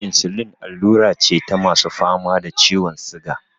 Insulin allura ce ta masu fama da ciwon siga.